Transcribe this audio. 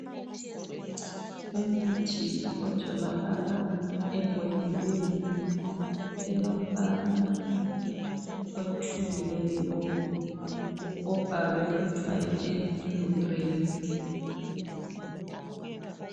Umuthi otholakala embodleleni elombala othubileyo obhalwe kuthwa yi-Enflurane.